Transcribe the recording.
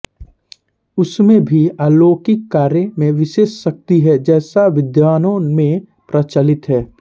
उसमें भी अलौकिक कार्य में विशेष शक्ति है जैसा विद्वानों में प्रचलित है